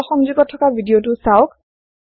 তলৰ সংযোগত থকা ভিদিয়তো চাওক